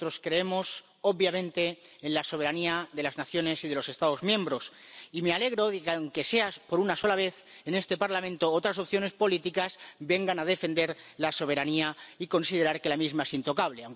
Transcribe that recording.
Nosotros creemos —obviamente— en la soberanía de las naciones y de los Estados miembros, y me alegro de que, aunque sea por una sola vez, en este Parlamento, otras opciones políticas vengan a defender la soberanía y considerar que la misma es intocable.